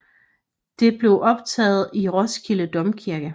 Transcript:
Det blev optaget i Roskilde Domkirke